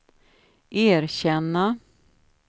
erkänna